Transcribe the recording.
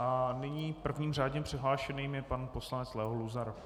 A nyní prvním řádně přihlášeným je pan poslanec Leo Luzar.